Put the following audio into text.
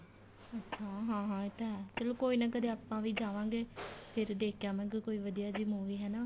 ਅੱਛਾ ਹਾਂ ਹਾਂ ਇਹ ਤਾਂ ਹੈ ਚਲੋ ਕੋਈ ਨਾ ਕਦੇ ਆਪਾਂ ਵੀ ਜਾਵਾਂਗੇ ਫੇਰ ਦੇਖ ਕੇ ਆਵਾਂਗੇ ਕੋਈ ਵਧੀਆ ਜੀ movie ਹਨਾ